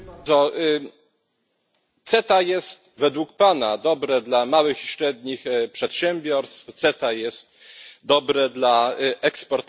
CETA jest według pana dobre dla małych i średnich przedsiębiorstw, CETA jest dobre dla eksporterów europejskich.